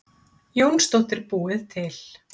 Jónsdóttir búið til.